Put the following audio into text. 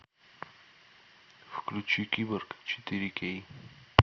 включи киборг четыре кей